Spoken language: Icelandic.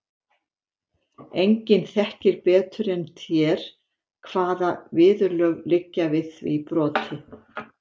Enginn þekkir betur en þér hvaða viðurlög liggja við því broti.